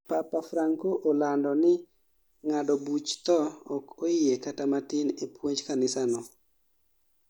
Papa Franco olando ni ng'ado buch thoo ok oyie kata matin e puonj kanisano